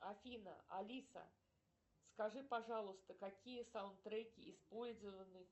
афина алиса скажи пожалуйста какие саундтреки использованы